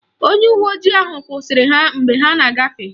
Onye uwe ojii ahụ kwụsịrị ha mgbe ha na-agafe.